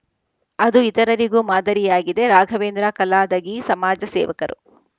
ಅದು ಇತರರಿಗೂ ಮಾದರಿಯಾಗಿದೆ ರಾಘವೇಂದ್ರ ಕಲಾದಗಿ ಸಮಾಜ ಸೇವಕರು